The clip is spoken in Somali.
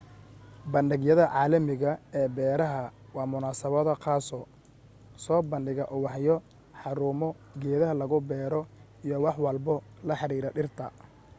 bandhigyada caalamiga ee beeraha waa munasabado qaaso soo badhiga ubaxyo xarumo geedaha lagu bero iyo wax walbo la xiriira dhirta